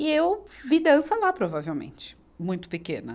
E eu vi dança lá, provavelmente, muito pequena.